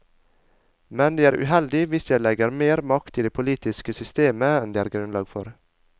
Men det er uheldig hvis vi legger mer makt i det politiske systemet enn det er grunnlag for.